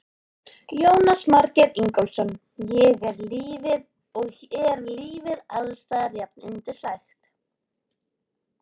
Jónas Margeir Ingólfsson: Og er lífið alls staðar jafnyndislegt?